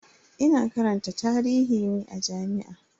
Ina karanta tarihi ne a jami'a.